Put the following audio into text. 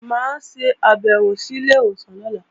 Mà á ṣàbẹ̀wò sí ilé ìwòsàn lọ́la